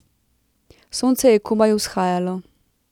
Sonce je komaj vzhajalo.